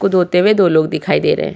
को धोत्ते हुए दो लोग दिखाई दे रहे है।